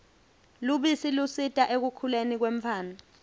lubisi lusita ekukhuleni kwemtfwana